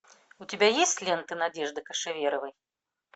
у тебя есть лента надежды кошеверовой